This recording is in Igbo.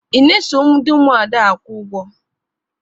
Ị na-eso ndị Ụmụada akwụ ụgwọ?